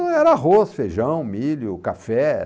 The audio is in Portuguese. Era arroz, feijão, milho, café.